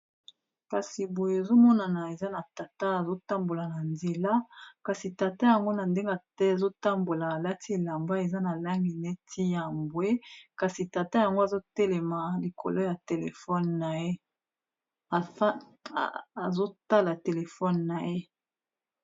Kasi boye ezomonana eza na tata azotambola na nzela, kasi tata yango na ndenge azotambola alati elamba eza na langi neti ya mbwe, kasi tata yango azotala telefone na ye.